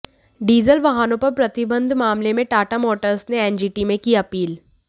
diesel वाहनों पर प्रतिबंध मामले में टाटा मोटर्स ने एनजीटी में की अपील